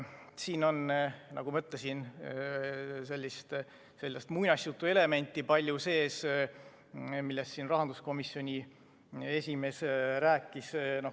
Siin on, nagu ma ütlesin, palju sees sellist muinasjutuelementi, millest rahanduskomisjoni esimees rääkis.